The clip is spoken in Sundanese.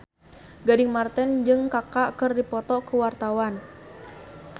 Gading Marten jeung Kaka keur dipoto ku wartawan